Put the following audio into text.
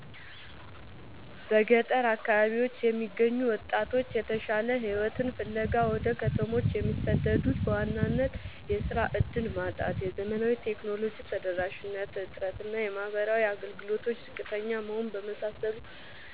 በገጠር አካባቢዎች የሚገኙ ወጣቶች የተሻለ ሕይወትን ፍለጋ ወደ ከተሞች የሚሰደዱት በዋናነት የሥራ ዕድል ማጣት፣ የዘመናዊ ቴክኖሎጂ ተደራሽነት እጥረት እና የማኅበራዊ አገልግሎቶች ዝቅተኛ መሆን በመሳሰሉ